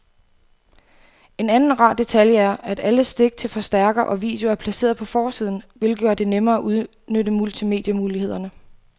En anden rar detalje er, at alle stik til forstærker og video er placeret på forsiden, hvilket gør det nemmere at udnytte multimedie-mulighederne.